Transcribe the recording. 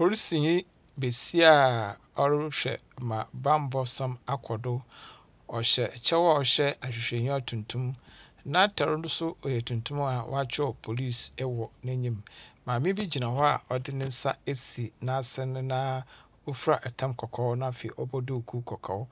Polisinyi basia a ɔrehwɛ ma bambɔsɛm akɔ do. Ɔhyɛ kyɛw a ɔhyɛ ahwehwɛenyiwa tuntum, n’atar no so ɔyɛ tuntum a wɔakyerɛw Police wɔ n’enyim. Maame bi gyina hɔ a ɔdze ne nsa esi n’asen na ofura tam kɔkɔɔ na afei ɔbɔ duukuu kɔkɔɔ.